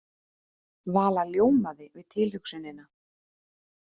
Vala ljómaði við tilhugsunina.